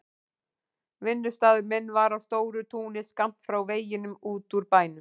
Vinnustaður minn var á stóru túni skammt frá veginum út úr bænum.